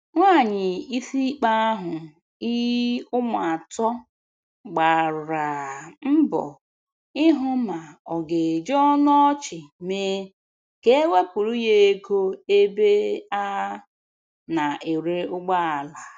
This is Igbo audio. Nwanyị isimkpe ahụ i ụmụ atọ gbaraa mbọ ịhụ ma ọ ga eji ọnụ ọchị mee ka e wepụrụ ya ego ebe a na-ere ụgbọala.